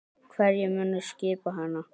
Hverjir munu skipa hana?